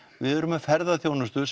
við erum með ferðaþjónustu